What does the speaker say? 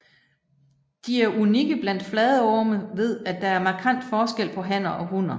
De er unikke blandt fladorme ved at der er markant forskel på hanner og hunner